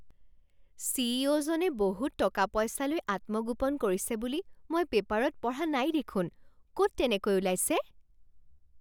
C E O জনে বহুত টকা পইচালৈ আত্মগোপন কৰিছে বুলি মই পেপাৰত পঢ়া নাই দেখোন। ক'ত তেনেকৈ উলাইছে?